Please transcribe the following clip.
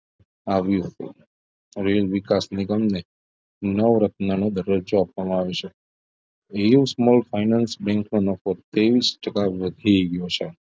આવ્યું હતું રેલ વિકાસ નિગમની નવરત્નનો દરજ્જો આપવામાં આવશે reuse finance bank માં નફો તેવીશ ટકા નો વધી ગયો છે